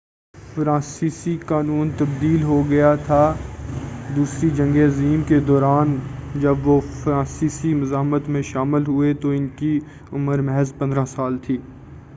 فرانسیسی قانون تبدیل ہو گیا تھا دوسری جنگ عظیم کے دوران جب وہ فرانسیسی مزاحمت میں شامل ہوئے تو ان کی عمر محض 15 سال تھی